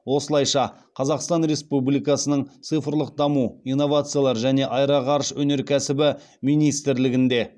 осылайша қазақстан республикасының цифрлық даму инновациялар және аэроғарыш өнеркәсібі министрлігінде